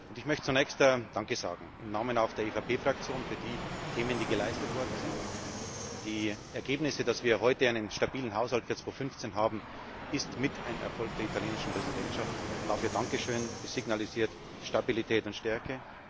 Ich möchte zunächst danke sagen, auch im Namen auch der EVP Fraktion, für die Themen, die geleistet worden sind. Die Ergebnisse, dass wir heute einen stabilen Haushalt für 2015 haben, das ist mit ein Erfolg der italienischen Präsidentschaft. Dafür danke schön dies signalisiert Stabilität und Stärke.